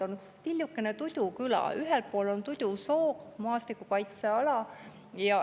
On üks tillukene küla, Tudu küla, ühel pool on Tudusoo kaitseala.